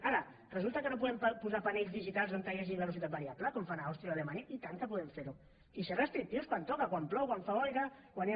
ara resulta que no podem posar panells digitals on hi hagi velocitat variable com fan a àustria o a alemanya i tant que podem fer ho i ser restrictius quan toca quan plou quan fa boira quan hi ha